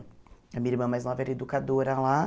A minha irmã mais nova era educadora lá.